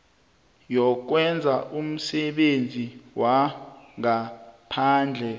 yokwenza umsebenzi wangaphandle